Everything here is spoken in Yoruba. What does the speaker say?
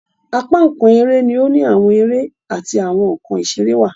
Apá nkán eré ni o ni awọn eré ati awọn nkán iṣere wá